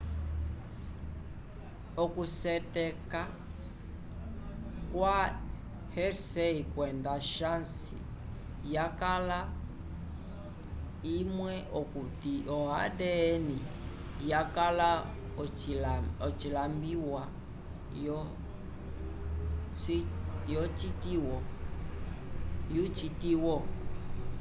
oku syeteka kwa hershey kwenda chase yakala imwe okuti o adn yakala ocilambiwa yo citiwo